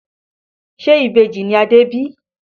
Ṣe Ìbejì ni Adé bí?